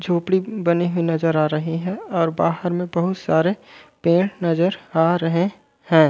झोपडी बने हुए नज़र आ रहे है और बाहर में बहुत सारे पेड़ नज़र आ रहे है।